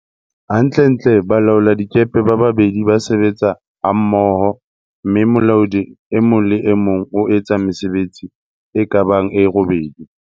Hantlentle, balaoladikepe ba babedi ba sebetsa hammo ho, mme molaodi e mong le e mong o etsa mesebetsi e ka bang e robedi.